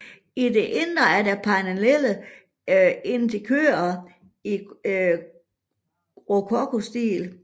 I det indre er der panellerede interiører i rokokostil